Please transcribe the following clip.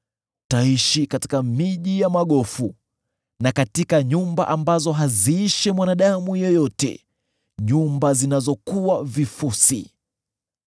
ataishi katika miji ya magofu, na katika nyumba ambazo haziishi mwanadamu yeyote, nyumba zinazokuwa vifusi.